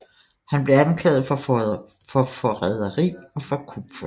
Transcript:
Han blev anklaget for forræderi og for kupforsøg